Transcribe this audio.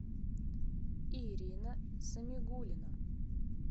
ирина самигуллина